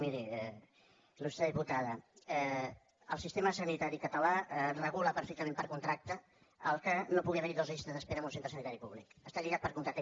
miri ilsanitari català regula perfectament per contracte que no pugui haver hi dues llistes d’espera en un centre sanitari públic està lligat per contracte